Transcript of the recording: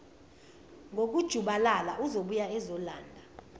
ngokujubalala uzobuya ezolanda